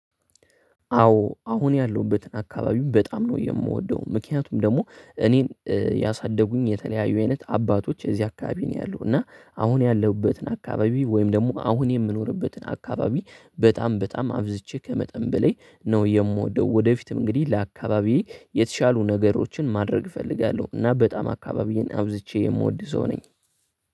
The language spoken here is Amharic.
አዎ አሁን ያለሁበትን አካባቢው በጣም ነው የምወደው ምክንያቱም ደግሞ እኔን ያሳደጉኝ የተለያዩ አይነት አባቶች እዚህ አካባቢ ነው ያሉት እና አሁን ያለሁበትን አካባቢ ወይም ደግሞ አሁን የምኖርበትን አካባቢ በጣም በጣም አብዝቼ ከመጠን በላይ ነው የምወደው ወደፊትም እንግዲህ ለአካባቢዬ የተሻሉ ነገሮችን ማድረግ እፈልጋለሁ እና በጣም አካባቢዬን አብዝቼ የምወድ ሰው ነኝ።